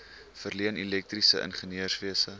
verleen elektriese ingenieurswese